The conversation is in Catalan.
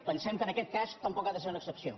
pensem que en aquest cas tampoc ha de ser una excepció